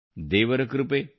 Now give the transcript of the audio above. ದೇವರ ಕೃಪೆ ಆಯಿತು